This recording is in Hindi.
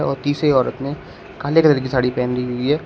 और तीसरी औरत ने काले कलर की साड़ी पहनी हुई हैं।